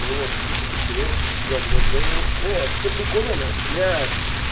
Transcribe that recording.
вот типа ты хуяришь это говно блина не это все прикольно блять